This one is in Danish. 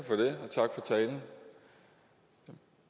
tak for talen